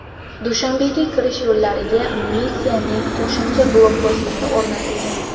Dushanbega kirish yo‘llariga militsiyaning qo‘shimcha blokpostlari o‘rnatilgan.